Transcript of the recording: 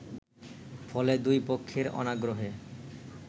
ফলে দুইপক্ষের অনাগ্রহে